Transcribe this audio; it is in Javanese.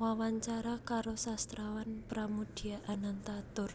wawancara karo sastrawan Pramoedya Ananta Toer